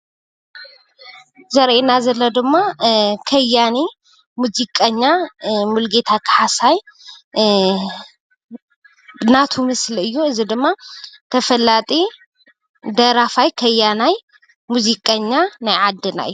ዘርእየና ዘሎ ድማ ከያኒ ሙዚቀኛ ሙልጌታ ካሕሳይ ናቱ ምስሊ እዩ። እዚ ድማ ተፈላጢ ደራፋይ ከያናይ ሙዚቀኛ ናይ ዓድና እይ።